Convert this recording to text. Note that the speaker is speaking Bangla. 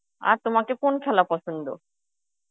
আর তোমাকে কোন খেলা পছন্দ?